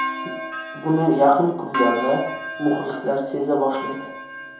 Buni yaqin kunlarda muxlislar seza boshlaydi.